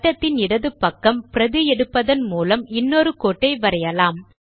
வட்டத்தின் இடது பக்கம் பிரதி எடுப்பதன் மூலம் இன்னொரு கோட்டை வரையலாம்